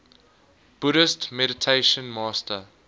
buddhist meditation master